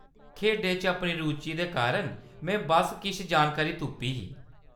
खेढें च अपनी रुचि दे कारण में बस्स किश जानकारी तुप्पी ही।